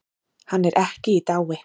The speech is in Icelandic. Hann er ekki í dái.